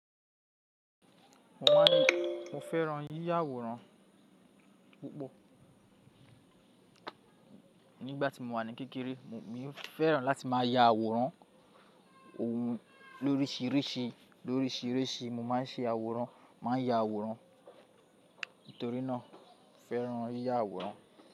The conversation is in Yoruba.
Mo máa ń ní mo fẹ́ran yíya àwòrán púpọ̀. Nígbà tí mo wà ní kékeré, mo fẹ́ran láti má a ya àwòrán ohun lórísirísi, lórísirísi mo má n ṣe àwòrán, màá n ya àwòrán. Nítorí náà mo fẹ́ran yíya àwòrán.